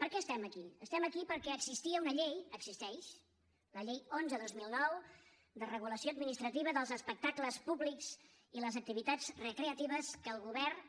per què estem aquí estem aquí perquè existia una llei existeix la llei onze dos mil nou de regulació administrativa dels espectacles públics i les activitats recreatives que el govern